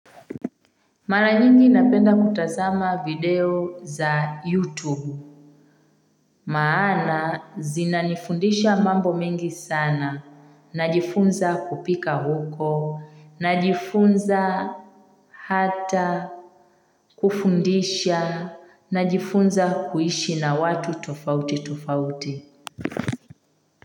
Mara nyingi napenda kutazama video za youtube maana zinanifundisha mambo mingi sana najifunza kupika huko najifunza hata kufundisha najifunza kuishi na watu tofauti tofauti.